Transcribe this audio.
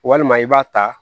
Walima i b'a ta